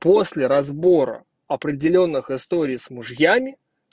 после разбора определённых историй с мужьями